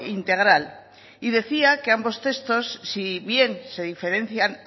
integral y decía que ambos textos si bien se diferencian